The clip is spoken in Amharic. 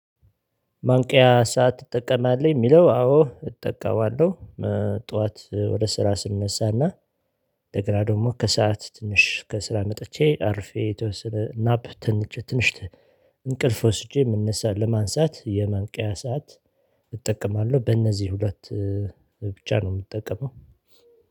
ማንቂያ ሰዓት ትጠቀማለህ? የሚለው አዎ እጠቀማለሁ ጠዋት ወደ ስራ ስንነሳና ደግሞ ከሰአት ትንሽ ከስራ መጥቼ አርፌ የተወሰነ ስናፕ ትንሽ ትንሽ እንቅልፍ ወስጄ የምንነሳ ለማንሳት የማንቂያ ሰዓት እጠቀማለሁ በእነዚህ ሁለት ብቻ ነው የምጠቀመው